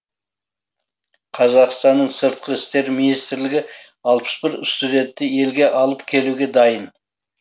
қазақстанның сыртқы істер министрлігі алпыс бір студентті елге алып келуге дайын